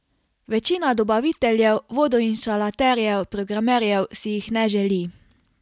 Večina dobaviteljev, vodoinštalaterjev, programerjev si jih ne želi.